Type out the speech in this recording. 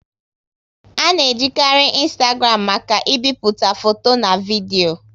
A na e jikari Ịnstagram maka ị bipụta foto na vidio